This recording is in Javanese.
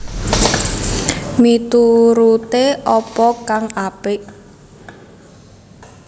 Mituruté apa kang apik